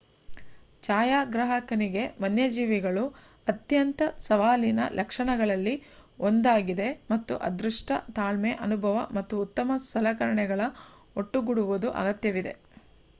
ಛಾಯಾಗ್ರಾಹಕನಿಗೆ ವನ್ಯಜೀವಿಗಳು ಅತ್ಯಂತ ಸವಾಲಿನ ಲಕ್ಷಣಗಳಲ್ಲಿ ಒಂದಾಗಿದೆ, ಮತ್ತು ಅದೃಷ್ಟ ತಾಳ್ಮೆ ಅನುಭವ ಮತ್ತು ಉತ್ತಮ ಸಲಕರಣೆಗಳ ಒಟ್ಟುಗೊಡುವುದು ಅಗತ್ಯವಿದೆ